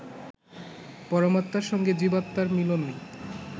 পরমাত্মার সঙ্গে জীবাত্মার মিলনই